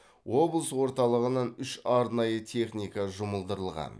облыс орталығынан үш арнайы техника жұмылдырылған